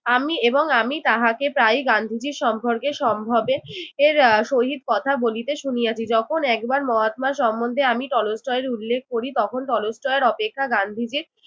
আমি এবং আমি তাহাকে প্রায়ই গান্ধীজি সম্পর্কে সম্ভবে এর সহিত কথা বলিতে শুনিয়াছি। যখন একবার মহাত্মা সম্বন্ধে আমি টলস্টয়ের উল্লেখ করি তখন টলস্টয়ের অপেক্ষা গান্ধীজির